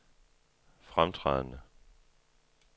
fremtrædende